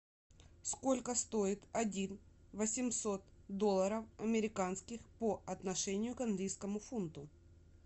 сколько стоит один восемьсот долларов американских по отношению к английскому фунту